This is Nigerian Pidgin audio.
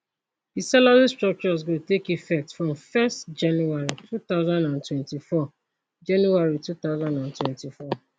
di salary structures go take effect from first january twenty twenty four january twenty twenty four